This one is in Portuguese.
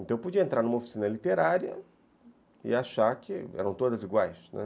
Então eu podia entrar numa oficina literária e achar que eram todas iguais, né.